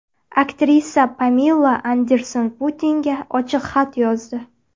Aktrisa Pamela Anderson Putinga ochiq xat yozdi.